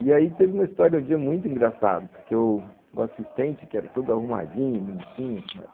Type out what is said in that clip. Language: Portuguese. E aí teve uma história um dia muito engraçada porque o, o assistente, que era todo arrumadinho, bonitinho, mas...